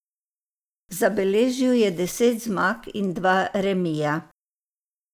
Zabeležil je deset zmag in dva remija.